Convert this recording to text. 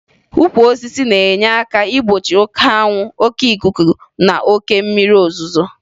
Ukwu osisi na-enye aka igbochi oke anwụ, oke ikuku na oke mmiri ozuzo